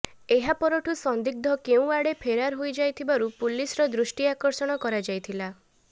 ଏହା ପରଠୁ ସନ୍ଦିଗ୍ଧ କେଉଁ ଆଡ଼େ ଫେରାର ହୋଇଯାଇଥିବାରୁ ପୁଲିସ୍ର ଦୃଷ୍ଟି ଆକର୍ଷଣ କରାଯାଇଥିଲା